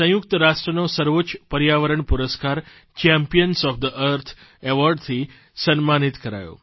દેશને સંયુક્ત રાષ્ટ્રનો સર્વોચ્ચ પર્યાવરણ પુરસ્કાર ચેમ્પિયન્સ ઓએફ થે અર્થ એવોર્ડથી સન્માનિત કરાયો